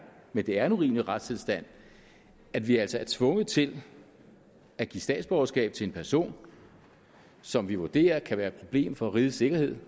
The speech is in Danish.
men det er en urimelig retstilstand at vi altså er tvunget til at give statsborgerskab til en person som vi vurderer kan være et problem for rigets sikkerhed